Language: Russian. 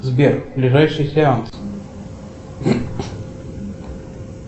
сбер ближайший сеанс